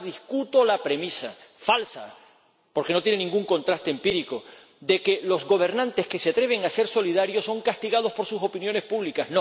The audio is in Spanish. Pero, además, discuto la premisa −falsa, porque no tiene ningún contraste empírico− de que los gobernantes que se atreven a ser solidarios son castigados por sus opiniones públicas.